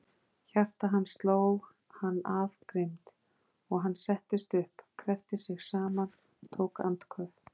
Hjarta hans sló hann af grimmd, og hann settist upp, kreppti sig saman, tók andköf.